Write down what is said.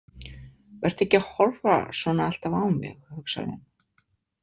Vertu ekki að horfa svona alltaf á mig, hugsar hún.